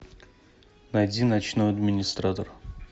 найди ночной администратор